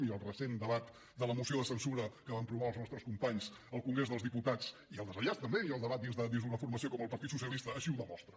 i el recent debat de la moció de censura que van promoure els nostres companys al congrés dels diputats i el desenllaç també i el debat dins d’una formació com el partit socialista així ho demostra